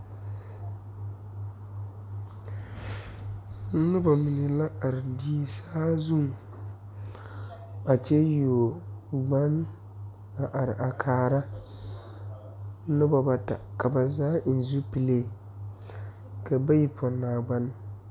Noba mine la are die saa zuŋ a kyɛ yuo gbaŋ a are a kaara noba bata ka ba zaa eŋ zupele ka bayi pɔnnaa gbane.